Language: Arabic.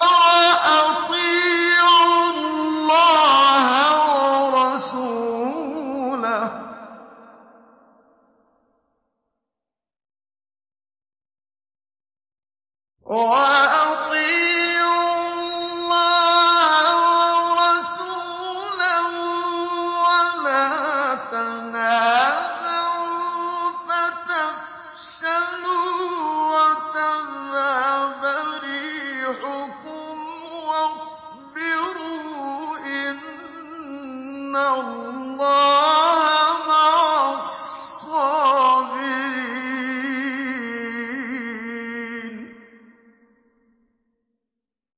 وَأَطِيعُوا اللَّهَ وَرَسُولَهُ وَلَا تَنَازَعُوا فَتَفْشَلُوا وَتَذْهَبَ رِيحُكُمْ ۖ وَاصْبِرُوا ۚ إِنَّ اللَّهَ مَعَ الصَّابِرِينَ